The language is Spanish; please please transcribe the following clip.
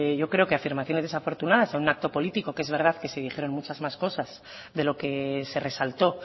yo creo que afirmaciones desafortunadas en un acto político que es verdad que se dijeron muchas más cosas de lo que se resaltó